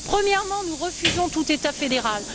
Premièrement, nous refusons tout État fédéral.